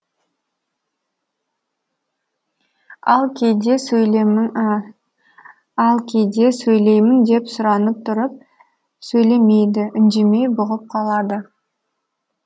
ал кейде сөйлеймін деп сұранып тұрып сөйлемейді үндемей бұғып қалады